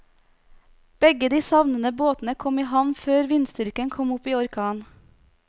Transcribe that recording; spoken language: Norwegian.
Begge de savnede båtene kom i havn før vindstyrken kom opp i orkan.